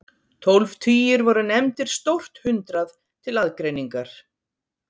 Tólf tugir voru nefndir stórt hundrað til aðgreiningar.